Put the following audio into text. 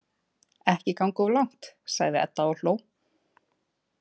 Ekki ganga of langt, sagði Edda og hló.